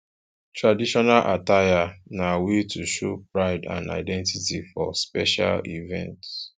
traditional attire na way to show pride and identity for special events